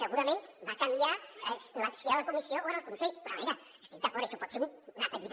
segurament va canviar si era la comissió o era el consell però a veure hi estic d’acord això pot ser una petita